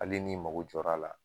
Hali n'i mago jɔr'a la